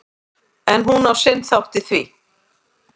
En hún á sinn þátt í því.